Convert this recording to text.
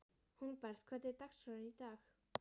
Hólmbert, hvernig er dagskráin í dag?